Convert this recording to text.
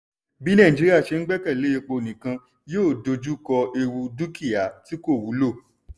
bí nàìjíríà ṣe ń gbẹ́kèlé epo nìkan yóò dojú kọ ewu dúkí̀á tí kò wúlò.